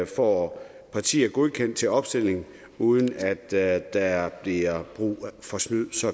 får partier godkendt til opstilling uden at der bliver brug for snyd så